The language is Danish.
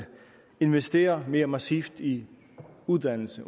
investere mere massivt i uddannelse